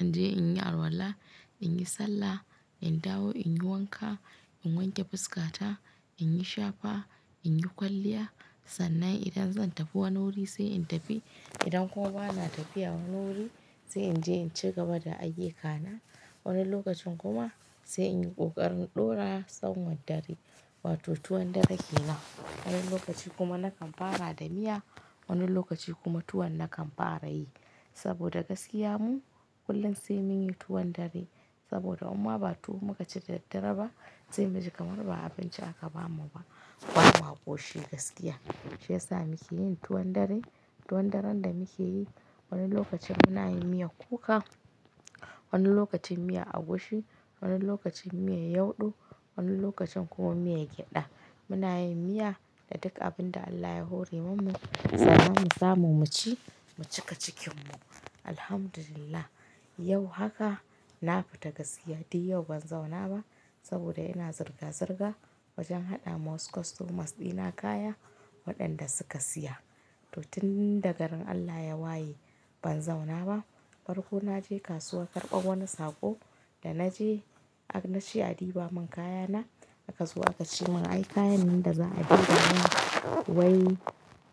in je in yi arwala, in yi sallah, in dawo, in yi wanka, in wanke fuskata, in yi shafa, in yi kwalliya. Sannan idan zan tafi wani wuri sai in tafi. Idan kuma bana tafiya wani wuri sai in je in ci gaba da ayuka na. Wani lokacin kuma sai in yi ƙoƙarin ɗora sanwar dare, wato tuwon dare ke nan. Wani lokaci kuma nakan fara da miya. Wani lokaci kuma tuwo nakan fara yi saboda gaskiya mu kullum sai mun yi tuwon dare saboda imma ba tuwo muka ci da daddare ba sai mu ji kamar ba abinci aka bamu ba. Bama koshi gaskiya shi ya sa muke yin tuwon dare. Tuwon daren da muke yi wani lokacin muna yin miya kuka, wani lokacin miya agushi, wani lokacin miya yadu, wani lokacin kuma miya gyaɗa. Muna yin miya da duk abin da Allah ya hori mu, ya sa mu samu mu ci, mu cika cikin mu. Alhamdulillah yau haka na fita gaskiya, dai yau ban zauna ba saboda ina zirga-zirga wajen haɗa ma wasu customers ɗina kaya waɗanda suka siya. To tun daga rin Allah ya waye ban zauna ba. Farko na je kasuwa karɓar wani sako, da na je na ce a diba mun kayana. A kazo aka ce mun ai kayan nan da za a ɗiba nan wai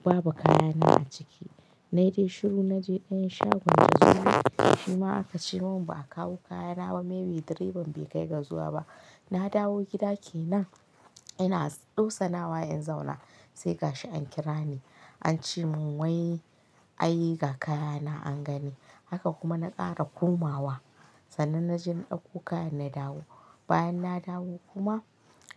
babu kayana a ciki. Na yi dai shiru na je ɗayan shagon jazuli. Shi ma aka ce mun ba a kawo kayana ba, maybe direban bai kai ga zuwa ba. Na dawo gida ke nan ina ɗosana wa in zauna sai gashi an kira ni. An ce mun wai a yi ga kayana an gani. Haka kuma na ƙara komawa. Sannan na je na ɗauko kayan na dawo. Bayan na dawo kuma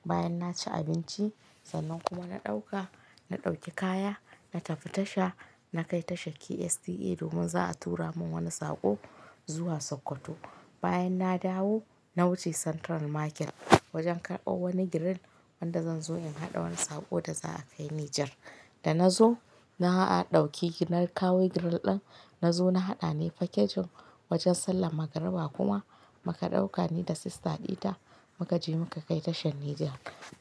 bayan na ci abinci sannan kuma na ɗauka, na ɗauki kaya na tafi tasha. Na kai tashar KSTC domin za a tura mun wani sako zuwa Sokoto. Bayan na dawo na wuce Central Market wajen karɓar wani grill wanda zan zo in haɗa wani sako da za a kai Nijar. Da na zo na a ɗauki ginar kawo grill ɗin. Na zo na haɗa ne package wajen sallar magariba kuma muka ɗauka ni da sister ɗita muka je muka kai tashar Niger.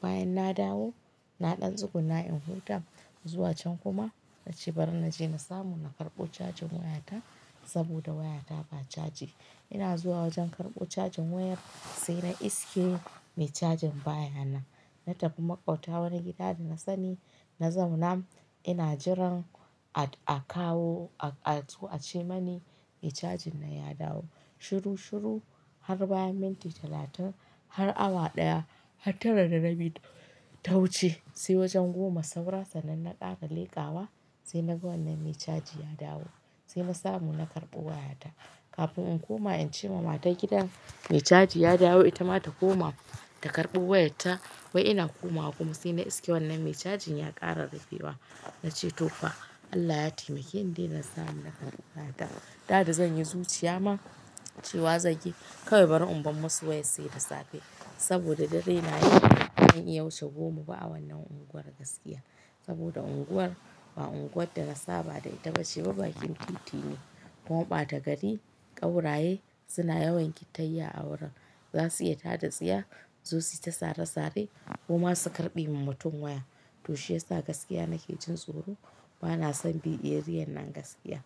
Bayan na dawo na ɗan tsugunna in hurta zuwa can kuma na cibar na je na samu na karɓo cajin wayata saboda wayata ba caji. Ina zuwa wajen karɓo cajin wayar sai na iske me cajin baya nan. Na tafi maƙwabta wani gida da na sani na zauna ina jiran a kawo a zo ce mani mai cajin nan ya dawo. Shiru-shiru har bayan minti talatin har awa ɗaya har tara da rabi ta wuce sai wajen goma saura sannan na ƙara leƙawa sai na ga wannan me caji ya dawo. Sai na samu na karɓo wayata. Kafin in koma in ce wa matar gidan mai caji ya dawo ita ma ta koma ta karɓo wayarta wai ina komawa kuma sai na iske wannan me cajin ya ƙarara fiwa. Na ce to fa Allah ya taimake ni dai na samu na karɓa kayata. Da dazan yi zuciya ma cewa zai yi kawai bari in bar masu wayar sai da safe saboda dare na yi ban iya wuche goma ba a wannan unguwar gaskiya. Saboda unguwar ba unguwar dana saba da ita bace ba bakin titin ne kuma ɓata gari. Ƙauraye suna yawan kitayya a wurin. Za su yi tada-tsiya, su zo suyita sare-sare koma su karɓe min mutum waya. To shi ya sa gaskiya nake jin tsoro bana son biye ariyar nan gaskiya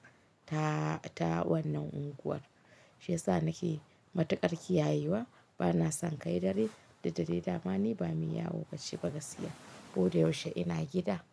ta wannan unguwar. Shi ya sa nake matuƙar ƙiyayewa. Bana son kai dare duk dai dama ni ba mi yawo bacci ba gaskiya ko da yaushe ina gida.